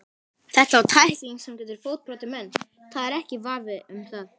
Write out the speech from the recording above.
Þetta var tækling sem getur fótbrotið menn, það er ekki vafi um það.